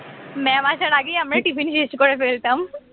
mam আসার আগেই আমরা tiffin শেষ করে ফেলতাম